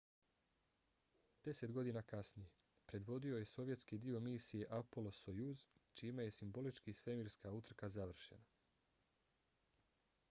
deset godina kasnije predvodio je sovjetski dio misije apollo–sojuz čime je simbolički svemirska utrka završena